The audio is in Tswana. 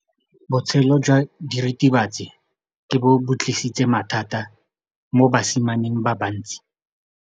Botshelo jwa diritibatsi ke bo tlisitse mathata mo basimaneng ba bantsi.